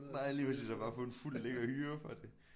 Nej lige præcis og bare få en fuld lækker hyre for det